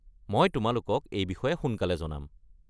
মই তোমালোকক এই বিষয়ে সোনকালে জনাম।